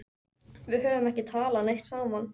Við höfum ekki talað neitt saman.